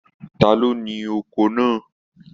Ta ló ní oko náà?